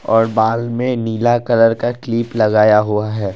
और बाल में नीला कलर का क्लिप लगाया हुआ है।